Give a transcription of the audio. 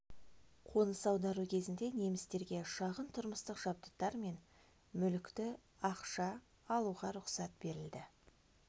қоныс аудару кезінде немістерге шағын тұрмыстық жабдықтар мен мүлікті ақша алуға рұқсат берілді